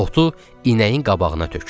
Otu inəyin qabağına tökdü.